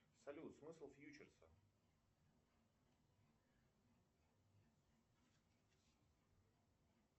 салют смысл фьючерса